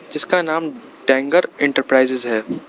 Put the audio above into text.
जिसका नाम डेंगर एंटरप्राइजेज है।